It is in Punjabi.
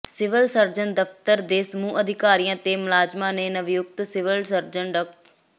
ਸਿਵਲ ਸਰਜਨ ਦਫ਼ਤਰ ਦੇ ਸਮੂਹ ਅਧਿਕਾਰੀਆਂ ਤੇ ਮੁਲਾਜ਼ਮਾਂ ਨੇ ਨਵਨਿਯੁਕਤ ਸਿਵਲ ਸਰਜਨ ਡਾ